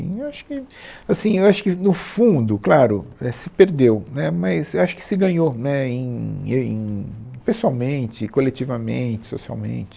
Eu acho que, assim, eu acho que no fundo, claro, é se perdeu, né, mas eu acho que se ganhou, né, em e em pessoalmente, coletivamente, socialmente.